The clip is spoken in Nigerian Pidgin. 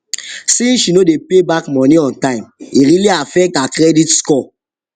since she no dey pay back money on time e really affect her credit score